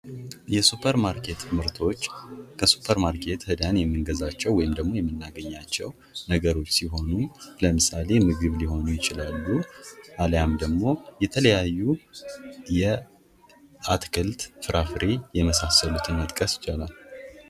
የሱፐርማርኬት ምርቶች ከሱፐር ማርኬት ሄደን የሚገዛቸው ወይም ደግሞ የምናገኛቸው ነገሮች ሲሆኑ፤ ለምሳሌ ምግብ ሊሆኑ ይችላሉ። አሊያም ደግሞ የተለያዩ የአትክልት ፍራፍሬ የመሳሰሉትን መጥቀስ ይቻላል።